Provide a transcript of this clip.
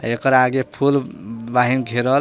एकर आगे फूल बहिं घेरल--